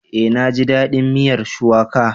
Eh naji dadin miyar Shuwaka